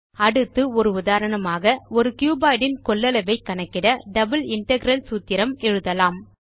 அடுத்து நாம் ஒரு உதாரணமாக ஒரு கியூபாய்ட் இன் கொள்ளளவை கணக்கிட டபிள் இன்டெக்ரல் சூத்திரம் எழுதலாம்